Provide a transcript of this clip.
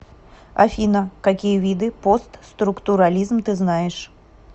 афина какие виды постструктурализм ты знаешь